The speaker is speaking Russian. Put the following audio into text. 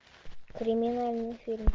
криминальный фильм